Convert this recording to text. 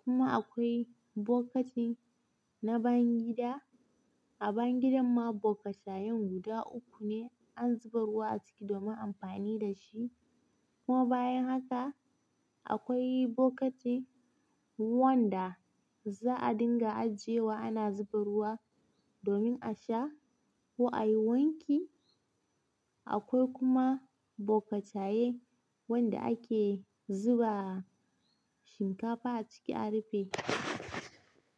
Kuma akwai bokatin na bangida. A bangidan ma bokatayen guda uku ne an zuba ruwa a ciki domin amfani da shi kuma bayan haka akwai bokati wanda za a dinga ajiyewa ana zuba ruwa domin a sha ko a yi wanki. Akwai kuma bokataye wanda ake zuba shinkafa a ciki a rufe.